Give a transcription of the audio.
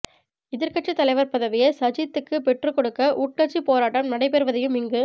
எதிர்க்கட்சித் தலைவர் பதவியை சஜித்துக்கு பெற்றுக்கொடுக்க உட்கட்சிப் போராட்டம் நடைபெறுவதையும் இங்கு